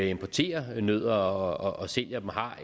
importerer nødder og sælger dem har